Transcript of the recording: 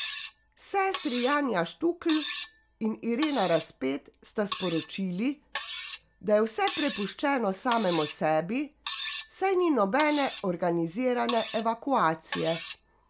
Sestri Janja Štukl in Irena Raspet sta sporočili, da je vse prepuščeno samemu sebi, saj ni nobene organizirane evakuacije.